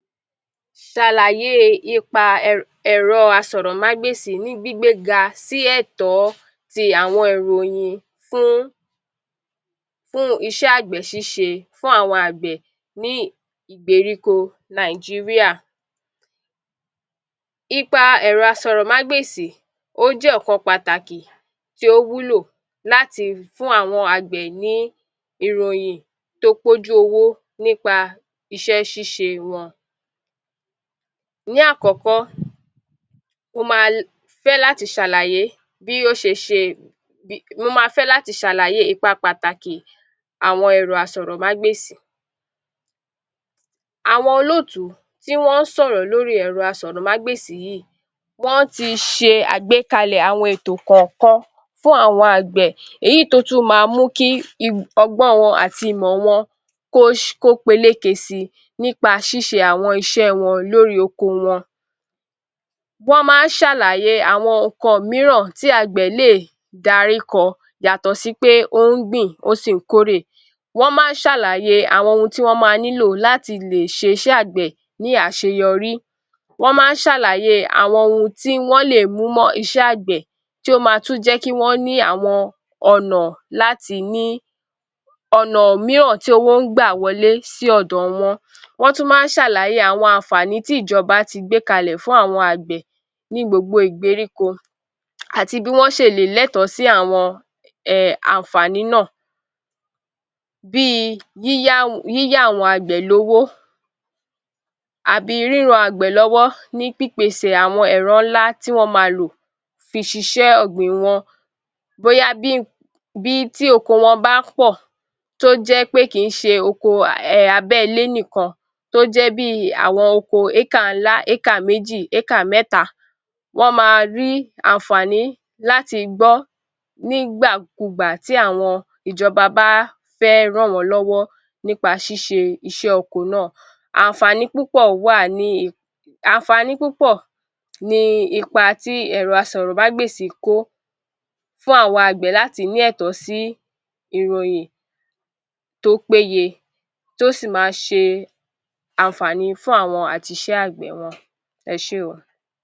Ṣàlàyé ipa ẹ̀rọ àsọ̀rọ̀mágbèsì ni gbígbé ga sí ẹ̀tọ́ tí àwọn ìròyìn fún iṣẹ́ agbẹ̀ ṣíṣe fún àwọn agbẹ̀ ní ìgbèríko Nàìjíríà. Ipa ẹ̀rọ àsọ̀rọ̀mágbèsì ó jẹ́ ọ̀kan pàtàkì tí ó wúlò láti lè fún àwọn agbẹ̀ ní ìròyìn tí ó pé ojú owó nípa iṣẹ́ ṣiṣẹ́ wọn. Ní àkọ́kọ́, ó máa fẹ́ láti ṣàlàyé bí ó ṣe é ṣe, mo máa fẹ́ láti ṣàlàyé ipa pàtàkì àwọn ẹ̀rọ àsọ̀rọ̀mágbèsì. Àwọn olótùú tí wọn ń sọ̀rọ̀ lórí ẹ̀rọ àsọ̀rọ̀mágbèsì yìí, wọn a ti ṣe àgbékalẹ̀ àwọn ètò kọ̀ọ̀kan fún àwọn agbẹ̀ èyí tí ó tu máa mú kí ọgbọ́n tí wọn àti ìmọ̀ wọn kò peléké si nípa ṣíṣe àwọn iṣẹ́ wọn lórí oko wọn. Wọn máa ń ṣàlàyé àwọn nǹkan mìíràn tí agbẹ̀ lè darí kọ yàtọ̀ sí pé ó ń gbìn ó sì ń kórè. Wọn máa ń ṣàlàyé àwọn ohun tí ó máa nílò láti lè ṣiṣẹ́ agbẹ̀ ní àṣeyọrí. Wọn máa ń ṣàlàyé àwọn ohun tí wọn lé mú mọ̀ iṣẹ́ agbẹ̀ tí ó máa tún jẹ́ kí wọn láti ní ọ̀nà mìíràn tí owó ń gbà wọlé sí ọ̀dọ̀ wọn. Wọn tún máa ń ṣàlàyé àwọn àǹfààní tí ìjọba tí gbé kalẹ̀ fún àwọn agbẹ̀ ní gbogbo ìgbèríko àti bí wọn ṣe le lẹ́tọ̀ sì àwọn àǹfààní náà, bí yíyá àwọn agbẹ̀ lówó àbí ríran àwọn agbẹ̀ lọ́wọ́ nípa pípèsè àwọn ẹ̀rọ ńláǹlà tí wọn á máa lò fi ṣe iṣẹ́ ọgbìn wọn, bóyá bí tí oko wọn bá a pọ̀, tí ó jẹ kì í ṣe oko ti abẹ́ ilé nìkan tí ó jẹ bí áàkà ńlá, áàkà méjì, áàkà mẹ́ta, wọn a máa rí àǹfààní láti gbọ́ nígbàkúùgbà tí àwọn ìjọba bá a fẹ́ rán wọn lọ́wọ́ nípa ṣiṣẹ́ iṣẹ́ oko náà. Àwọn àǹfààní púpọ̀ wà ní, àǹfààní púpọ̀ ni ipa tí ẹ̀rọ àsọ̀rọ̀mágbèsì kó fún àwa agbẹ̀ láti lẹ́tọ̀ sí ìròyìn tí ó péye tí ó sì máa ṣe àǹfààní fún àwọn àti iṣẹ́ agbẹ̀ wọn. Ẹ ṣe óò.